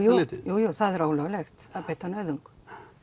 litið jú jú það er ólöglegt að beita nauðung